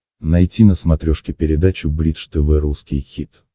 найти на смотрешке передачу бридж тв русский хит